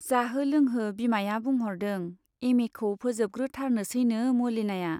जाहो लोंहो बिमाया बुंह'रदों , एम ए खौ फोजोबग्रो थारनोसैनो मलिनाया।